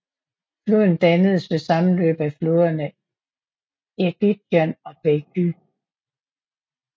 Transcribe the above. Floden dannes ved sammenløbet af floderne Irgitjan og Baky